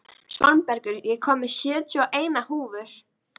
Svanbergur, ég kom með sjötíu og eina húfur!